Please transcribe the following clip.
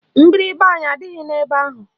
Mgbịrịgba anyị adịghị n'ime ebe ahụ